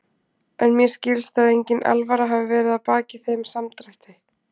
En mér skilst að engin alvara hafi verið að baki þeim samdrætti.